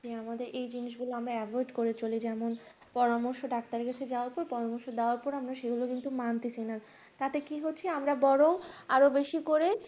আসলে আমাদের এই জিনিসগুলো আমরা avoid করে চলি যেমন পরামর্শ ডাক্তারের কাছে যাবে তো তো অবশ্যই দেওয়ার পর আমরা সেগুলো কিন্তু মানতে চাই না তাতে কি হচ্ছে আমরা বরং বেশি করে